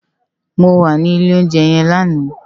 Mó wà ni ilé óunjè yèn làná